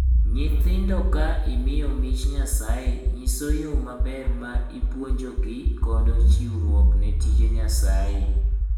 Nyithindo ka imiyo mich Nyasaye nyiso yoo maber ma ipuonjogi godo chiwruok ne tije Nyasaye.